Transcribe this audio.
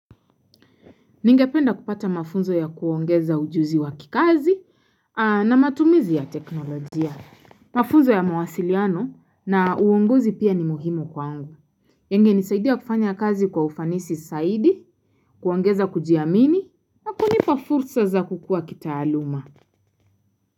Ningependa kupata mafunzo ya kuongeza ujuzi wa kikazi na matumizi ya teknolojia. Mafunzo ya mwasiliano na uongozi pia ni muhimu kwangu. Yangenisaidia kufanya kazi kwa ufanisi zaidi, kuongeza kujiamini na kunipa fursa za kukua kitaaluma.